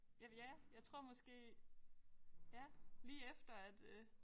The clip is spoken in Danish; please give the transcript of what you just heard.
Ja ja jeg tror måske ja lige efter at øh